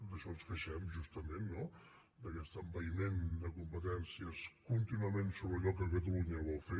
d’això ens queixem justament no d’aquest envaïment de competències contínuament sobre allò que catalunya vol fer